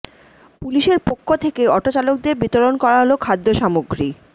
পুলিশের পক্ষ থেকে অটো চালকদের বিতরণ করা হল খাদ্য সামগ্রী